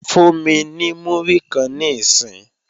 Fún mi ní múrí kan níìsín!